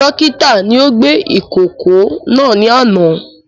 Dókítà ni ó gbé ìkókó náà ní àná